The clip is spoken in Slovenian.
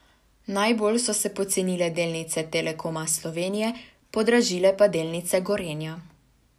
Najbolj so se pocenile delnice Telekoma Slovenije, podražile pa delnice Gorenja.